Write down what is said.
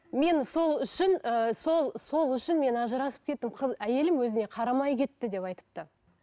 мен сол үшін ііі сол сол үшін мен ажырасып кеттім әйелім өзіне қарамай кетті деп айтыпты